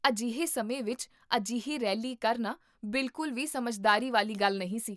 ਅਜਿਹੇ ਸਮੇਂ ਵਿਚ ਅਜਿਹੀ ਰੈਲੀ ਕਰਨਾ ਬਿਲਕੁਲ ਵੀ ਸਮਝਦਾਰੀ ਵਾਲੀ ਗੱਲ ਨਹੀਂ ਸੀ